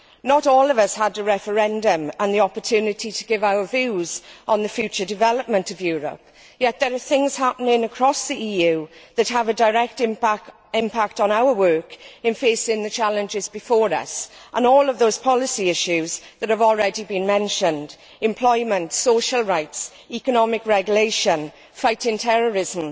Not all of us had a referendum and the opportunity to give our views on the future development of Europe, yet there are things happening across the EU that have a direct impact on our work in facing the challenges before us and all of those policy issues that have already been mentioned employment, social rights, economic regulation, fighting terrorism,